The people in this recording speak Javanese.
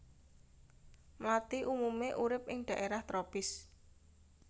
Mlathi umumé urip ing dhaérah tropis